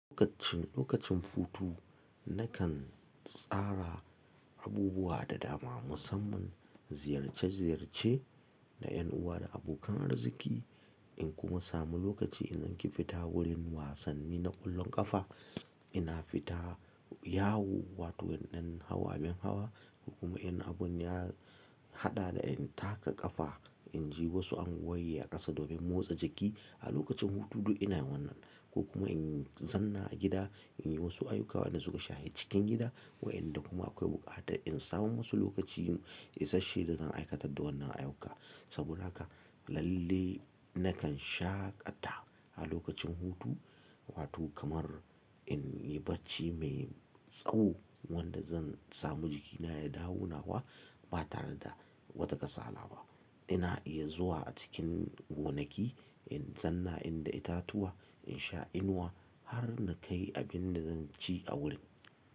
Lokacin, lokacin futtu na kan tsara abubuwa da dama musamman ziyarce ziyarce na yan uwa da abokan arziki in kuma samu lokaci in ke fita wurin wasanni na ƙwallon ƙafa. Ina fita yawo wato nadan hawa bin hawa kuma in abun ya haɗa da in taka ƙafa, in ji wasu anguwar yi a ƙasa domin motsa jiki a lokacin hutu duk ina yawan nan. Ko kuma in zanna a gida in yi wasu ayyuka wadan suka shahi cikin gida waɗanda kuma akwai buƙatar in sami musu lokaci isasshe da zan aikata da wannan ayyuka. Saboda haka lalle na kan shaƙata a lokacin hutu wato kamar in yi barci mai tsawo wanda zan samu jikina ya dawo nawa ba tare da wata kasala ba. Ina iya zuwa a cikin gonaki in zanna in da itatuwa, in sha inuwa har na kai abin da zan ci a wuri.